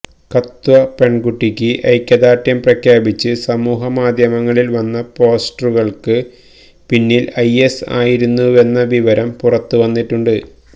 കത്വ പെണ്കുട്ടിയ്ക്ക് ഐക്യദാര്ഢ്യം പ്രഖ്യാപിച്ച് സമൂഹമാധ്യമങ്ങളില് വന്ന പോസ്റ്ററുകള്ക്ക് പിന്നില് ഐഎസ് ആയിരുന്നുവെന്ന വിവരം പുറത്തു വന്നിട്ടുണ്ട്